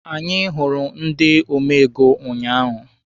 Anyị hụrụ ndị ome ego ụnyaahụ.